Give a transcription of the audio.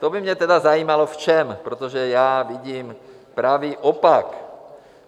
To by mě tedy zajímalo, v čem, protože já vidím pravý opak.